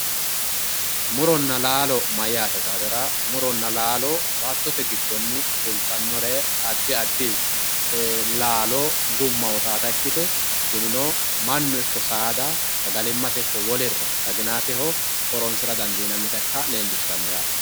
Muronna laalo mayyate yitaatera muronna laalo baattote giddonni fultannore addi addi laalo ikkite tinino mannu ikko saada sagalimmate ikko wolurora xahinaatehono horoonsira dandiinannita ikka leellishsjannote yaate.